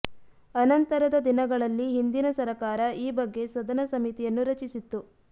ಅನಂತರದ ದಿನಗಳಲ್ಲಿ ಹಿಂದಿನ ಸರಕಾರ ಈ ಬಗ್ಗೆ ಸದನ ಸಮಿತಿಯನ್ನು ರಚಿಸಿತ್ತು